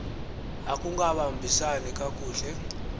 akungaba mbisani kakuhle